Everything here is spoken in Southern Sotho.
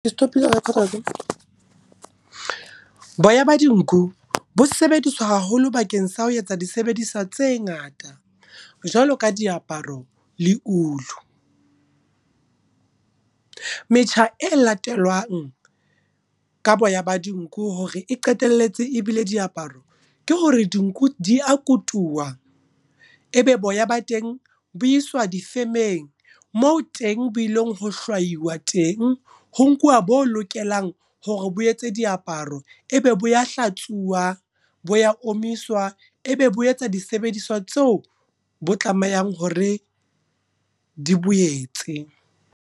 Ke stop-ile ho record-a watseba. Boya ba dinku, bo sebediswa haholo bakeng sa ho etsa disebediswa tse ngata. Jwalo ka diaparo le ulu. Metjha e latelwang ka boya ba dinku hore e qetelletse e bile diaparo, ke hore dinku di a kutuwa. Ebe boya ba teng boiswa difemeng moo teng boilong ho hlwaiwa teng, ho nkuwa bo lokelang hore bo etse diaparo. Ebe bo ya hlatswiwa, bo ya omiswa, ebe bo etsa disebediswa tseo bo tlamehang hore di boetse.